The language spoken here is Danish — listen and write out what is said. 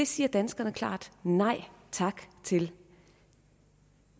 siger danskerne klart nej tak til